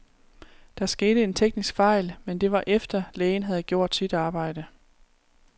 Der skete en teknisk fejl, men det var efter, lægen havde gjort sit arbejde.